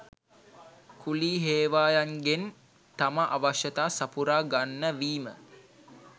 කුලී හේවායන්ගෙන් තම අවශ්‍යතා සපුරා ගන්න වීම